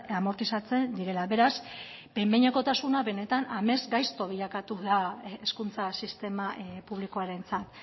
amortizatzen direla beraz behin behinekotasuna benetan amesgaizto bilakatu da hezkuntza sistema publikoarentzat